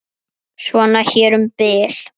Svona hér um bil.